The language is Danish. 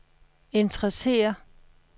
interesserer